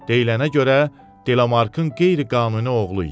Deyilənə görə Delamarkın qeyri-qanuni oğlu idi.